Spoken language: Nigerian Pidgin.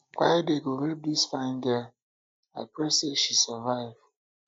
why dem go rape dis fine girl i pray say she survive